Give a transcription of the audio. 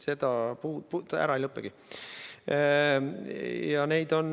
Need ei lõpegi ära.